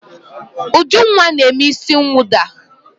Ujunwa na-eme isi mwụda.